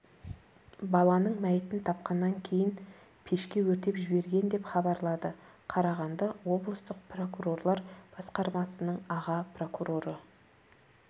баланың мәйітін тапқаннан кейін пешке өртеп жіберген деп хабарлады қарағанды облыстық прокурорлар басқармасының аға прокуроры